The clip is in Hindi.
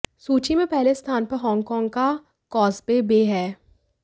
सूची में पहले स्थान पर हॉन्ग कॉन्ग का कॉजवे बे है